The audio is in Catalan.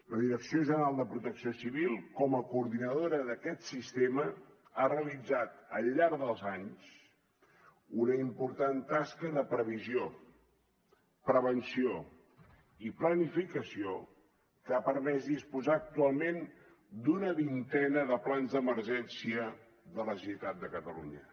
la direcció general de protecció civil com a coordinadora d’aquest sistema ha realitzat al llarg dels anys una important tasca de previsió prevenció i planificació que ha permès disposar actualment d’una vintena de plans d’emergència de la generalitat de catalunya